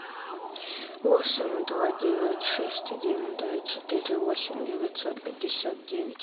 восемь два девять шесть один три четыре восемь девятьсот пятьдесят девять